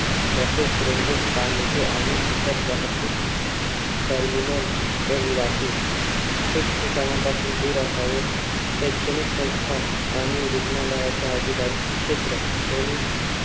Buses, railway, स्थानके आणि इतर वाहतूक terminal रहिवासी. ठीकठीकाणापासून दूर असावेत. शैक्षणिक संस्था आणि रुग्णालयाच्या आजूबाजूचे क्षेत्र, ध्वनी